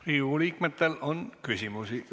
Riigikogu liikmetel on küsimusi.